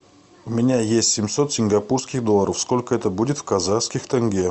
у меня есть семьсот сингапурских долларов сколько это будет в казахских тенге